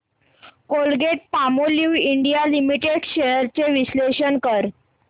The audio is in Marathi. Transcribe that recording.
कोलगेटपामोलिव्ह इंडिया लिमिटेड शेअर्स चे विश्लेषण कर